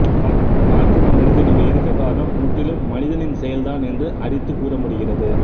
காற்று மண்டலத்தில் இவை இருக்க காரணம் முற்றிலும் மனிதனின் செயல் தான் என்று அடித்து கூறமுடிகிறது